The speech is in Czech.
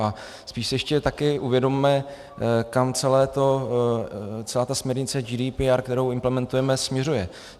A spíš si ještě taky uvědomme, kam celá ta směrnice GDPR, kterou implementujeme, směřuje.